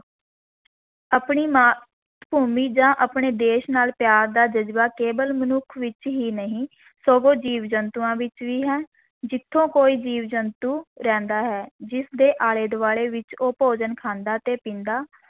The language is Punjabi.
ਆਪਣੀ ਮਾਂ ਭੂਮੀ ਜਾਂ ਆਪਣੇ ਦੇਸ਼ ਨਾਲ ਪਿਆਰ ਦਾ ਜਜ਼ਬਾ ਕੇਵਲ ਮਨੁੱਖ ਵਿੱਚ ਹੀ ਨਹੀਂ, ਸਗੋਂ ਜੀਵ-ਜੰਤੂਆਂ ਵਿਚ ਵੀ ਹੈ, ਜਿੱਥੇ ਕੋਈ ਜੀਵ-ਜੰਤੂ ਰਹਿੰਦਾ ਹੈ, ਜਿਸਦੇ ਆਲੇ-ਦੁਆਲੇ ਵਿੱਚ ਉਹ ਭੋਜਨ ਖਾਂਦਾ ਤੇ ਪੀਂਦਾ